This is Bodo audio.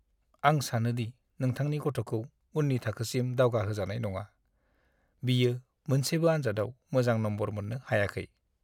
आं सानो दि नोंथांनि गथ'खौ उन्नि थाखोसिम दावगाहोजानाय नङा। बियो मोनसेबो आनजादाव मोजां नम्बर मोननो हायाखै।